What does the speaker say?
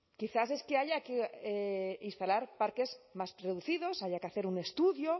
quizás es que haya que instalar parques más reducidos haya que hacer un estudio